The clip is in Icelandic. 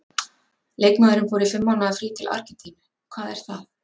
Leikmaðurinn fór í fimm mánaða frí til Argentínu- hvað er það?